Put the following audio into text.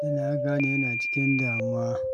Da na gane yana cikin damuwar